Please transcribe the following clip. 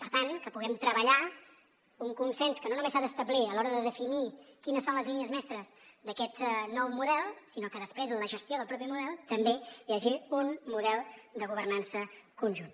per tant que puguem treballar un consens que no només s’ha d’establir a l’hora de definir quines són les línies mestres d’aquest nou model sinó que després en la gestió del mateix model també hi hagi un model de governança conjunt